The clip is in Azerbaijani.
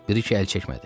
Briken əl çəkmədi.